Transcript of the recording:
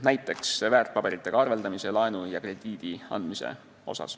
Näiteks võib tuua väärtpaberite haldamise teenused, laenu ja krediidi andmise.